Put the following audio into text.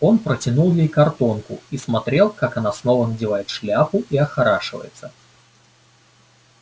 он протянул ей картонку и смотрел как она снова надевает шляпку и охорашивается